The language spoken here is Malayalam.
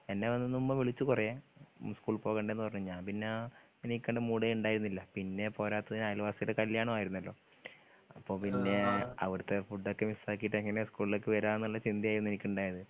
എന്നെ വന്നുമ്മ വിളിച്ചു കൊറേ സ്‌കൂൾ പോകണ്ടേ ന്ന് പറഞ്ഞു ഞാൻ പിന്നാ എണീക്കണ്ടെ മൂഡേണ്ടായ്ന്നില്ല പിന്നെ പോരാത്തതിന് അയൽവാസിടെ കല്ല്യാണൊ ആയിരുന്നല്ലോ അപ്പൊ പിന്നെ അവിടത്തെ ഫുടൊക്കെ മിസ്സാക്കിട്ട് എങ്ങനെ സ്ക്കൂൾലേക്ക് വരാന്ന്ള്ള ചിന്തായിരുന്നു എനിക്ക്ണ്ടായ്ന്നെ